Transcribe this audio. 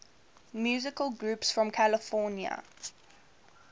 musical groups from california